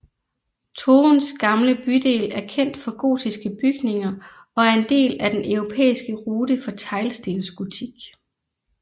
Toruns gamle bydel er kendt for gotiske bygninger og er en del af Den europæiske rute for teglstensgotik